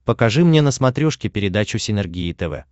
покажи мне на смотрешке передачу синергия тв